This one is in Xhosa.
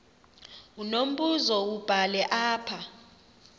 unombuzo wubhale apha